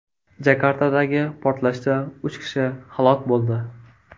Jakartadagi portlashda uch kishi halok bo‘ldi.